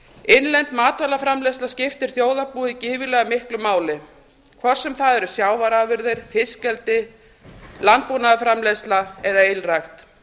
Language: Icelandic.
innlegg matvælaframleiðslu skiptir þjóðarbúið gífurlega mikið máli hvort sem það eru sjávarafurðir fiskeldi landbúnaðarframleiðsla eða ylrækt